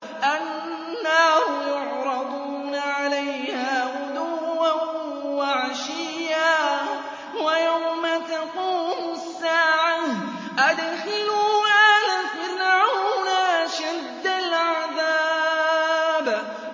النَّارُ يُعْرَضُونَ عَلَيْهَا غُدُوًّا وَعَشِيًّا ۖ وَيَوْمَ تَقُومُ السَّاعَةُ أَدْخِلُوا آلَ فِرْعَوْنَ أَشَدَّ الْعَذَابِ